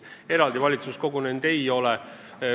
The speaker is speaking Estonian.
Eraldi valitsus kogunenud ei ole.